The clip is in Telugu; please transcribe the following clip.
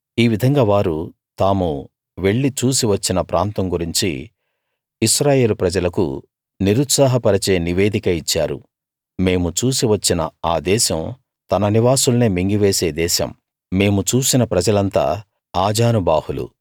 ఈ విధంగా వారు తాము వెళ్లి చూసి వచ్చిన ప్రాంతం గురించి ఇశ్రాయేలు ప్రజలకు నిరుత్సాహ పరిచే నివేదిక ఇచ్చారు మేము చూసి వచ్చిన ఆ దేశం తన నివాసుల్నే మింగివేసే దేశం మేము చూసిన ప్రజలంతా ఆజానుబాహులు